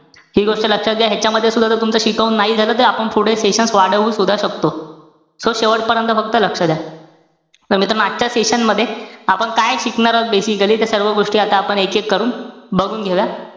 हि गोष्ट लक्षात घ्या. ह्यांच्यामध्ये सुद्धा जर तुमचं शिकवून नाही झालं तर आपण पुढे sessions वाढवू सुद्धा शकतो. So शेवटपर्यंत फक्त लक्ष द्या. तर मित्रांनो, आजच्या session मध्ये, आपण काय शिकणार आहोत, basically ते सर्व गोष्टी आता आपण एक-एक करून बघून घेऊया.